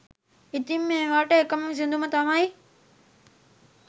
ඉතිං මේවාට එකම විසඳුම තමයි